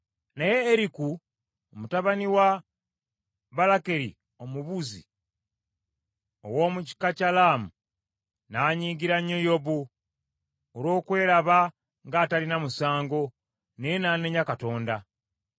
Naye Eriku, mutabani wa Balakeri Omubuzi, ow’omu kika kya Laamu, n’anyiigira nnyo Yobu olw’okweraba ng’atalina musango, naye n’anenya Katonda.